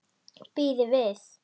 Bíðið við!